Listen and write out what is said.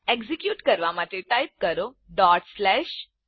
execute કરવા માટે type કરો type